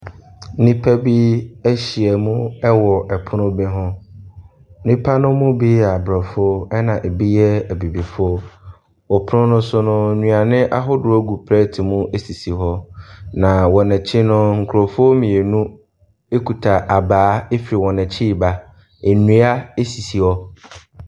Nnipa bi ahyia mu wɔ ɛpono bi ho. Nnipa no mu bi yɛ abrɔfo ɛna ebi nom yɛ abibifo. Wɔ pono no so no, aduane ahodoɔ gu plate mu sisi hɔ. Na wɔn akyi no nkorɔfoɔ mmienu ekuta abaa firi wɔn akyi ɛreba. Nnua esisi hɔ.